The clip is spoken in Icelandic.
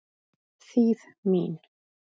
Þýð. mín.